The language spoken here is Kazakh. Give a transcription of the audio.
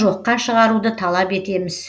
оны жоққа шығаруды талап етеміз